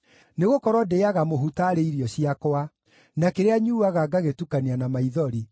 Nĩgũkorwo ndĩĩaga mũhu taarĩ irio ciakwa, na kĩrĩa nyuuaga ngagĩtukania na maithori,